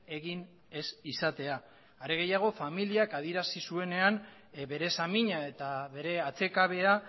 egin ez izatea are gehiago familiak adierazi zuenean bere samina eta bere atsekabea